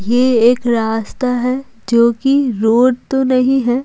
यह एक रास्ता है जो कि रोड तो नहीं है।